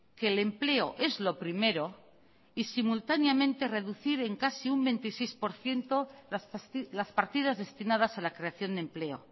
que el empleo es lo primero y simultáneamente reducir en casi un veintiséis por ciento las partidas destinadas a la creación de empleo